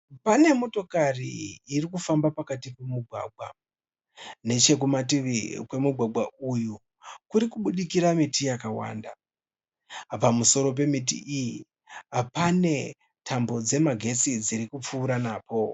Pane motokari irikufamba pakati pomugwaga. Nechekumativi kwemugwagwa uyu kuri kubudikira miti yakawanda. Pamusoro pemiti iyi pane tambo dzemagetsi dzirikupfuura napo.